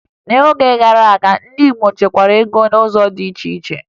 N'oge gara aga, ndị Igbo chekwara ego n'ụzọ dị iche iche